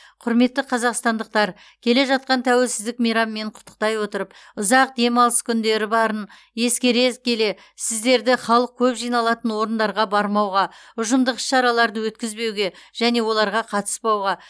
құрметті қазақстандықтар келе жатқан тәуелсіздік мейрамымен құттықтай отырып ұзақ демалыс күндері барын ескере келе сіздерді халық көп жиналатын орындарға бармауға ұжымдық іс шараларды өткізбеуге және оларға қатыспауға